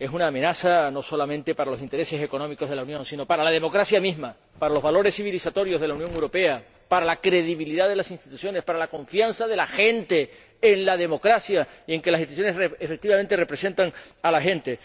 son una amenaza no solamente para los intereses económicos de la Unión sino para la democracia misma, para los valores civilizatorios de la Unión Europea, para la credibilidad de las instituciones, para la confianza de la gente en la democracia y en que las instituciones efectivamente representan a la gente.